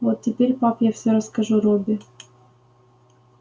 вот теперь пап я всё расскажу робби